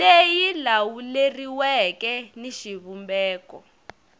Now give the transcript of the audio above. leyi yi lawuleriweke ni xivumbeko